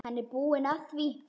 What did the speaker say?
Hann er búinn að því.